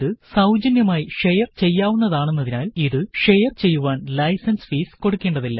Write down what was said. ഇത് സൌജന്യമായി ഷെയര് ചെയ്യാവുന്നതാണെന്നതിനാല് ഇത് ഷെയര് ചെയ്യുവാന് ലൈസന്സ് ഫീസ് കൊടുക്കേണ്ടതില്ല